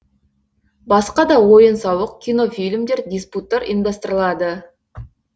басқа да ойын сауық кинофильмдер диспуттар ұйымдастырылады